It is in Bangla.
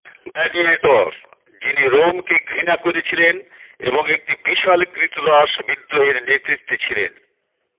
গ্ল্যাডিয়েটর যিনি রোমকে ঘৃণা করেছিলেন এবং একটি বিশাল ক্রীতদাস বিদ্রোহের নেতৃত্বে ছিলেন